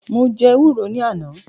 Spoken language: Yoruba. Mo jẹ́ ewúro ní àná